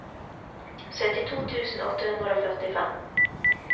syttito tusen åtte hundre og førtifem